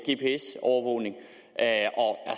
gps overvågning af